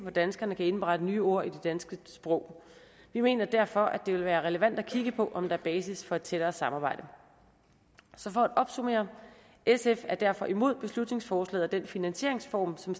danskerne kan indberette nye ord i det danske sprog vi mener derfor at det vil være relevant at kigge på om der er basis for et tættere samarbejde så for opsummere sf er derfor imod beslutningsforslaget og den finansieringsform som